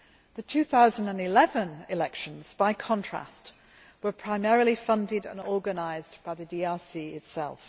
The 2011 elections, by contrast, were primarily funded and organised by the DRC itself.